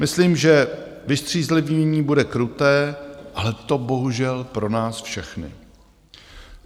Myslím, že vystřízlivění bude kruté, ale to bohužel pro nás všechny.